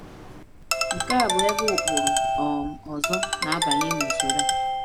Nke a bụ ebe ụkpụrụ um ọzọ na-abanye n’usoro a.